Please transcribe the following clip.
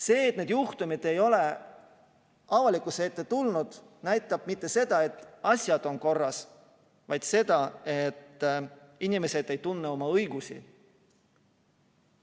See, et need juhtumid ei ole avalikkuse ette tulnud, ei näita mitte seda, et asjad on korras, vaid seda, et inimesed ei tunne oma õigusi.